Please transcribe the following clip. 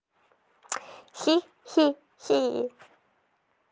хи хи хи